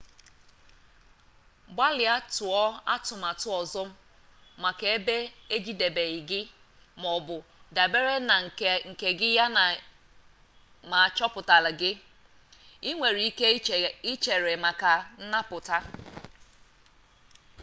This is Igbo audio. gbalịa tụọ atụmatụ ọzọ maka ebe ejidebeghi gị maọbụ dabere na nka gị yana ma achọpụtala gị ị nwere ike ịchere maka nnapụta